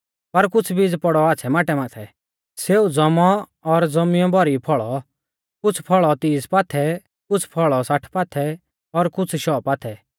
पर कुछ़ बीज पौड़ौ आच़्छ़ै माटै माथै सौ ज़ौमौ और ज़ौमियौ भौरी फौल़ौ कुछ़ फौल़ौ तीस पाथै कुछ़ साठ पाथै और कुछ़ शौ पाथै